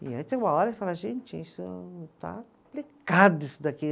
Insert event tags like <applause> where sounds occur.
E aí tem uma hora que <unintelligible> fala, gente, isso está <unintelligible> isso daqui.